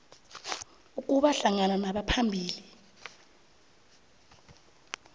ukuba hlangana nabaphambili